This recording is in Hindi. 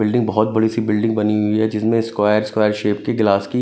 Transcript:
बिल्डिंग बहुत बड़ी सी बिल्डिंग बनी हुई है जिसमें स्क्वायर स्क्वायर शेप के गिलास की--